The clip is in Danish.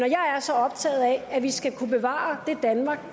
er så optaget af at vi skal kunne bevare det danmark